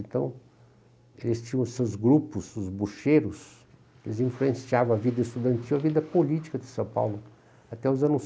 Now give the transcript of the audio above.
Então, eles tinham seus grupos, os bocheiros, eles influenciavam a vida estudantil, a vida política de São Paulo, até os anos